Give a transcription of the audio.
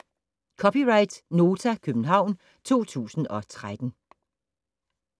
(c) Nota, København 2013